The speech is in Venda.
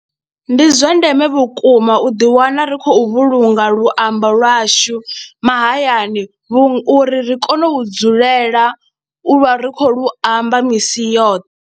Ndi zwa ndeme vhukuma u ḓiwana ri khou vhulunga luambo lwashu mahayani uri ri kone u dzulela u vha ri khou lu amba misi yoṱhe.